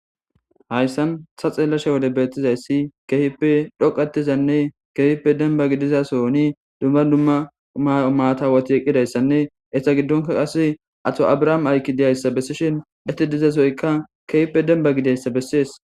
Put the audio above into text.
hayssan ta xeelashe wode beettizayssi keehippe dhoqatizanne keehippe denbagi dizasoni dumma dumma maatawati eqqidayssanne etta giddonka qase ato abrahaame aykki diyayssa bessishin ette dizasoyka keehppe denba gideyssa bessees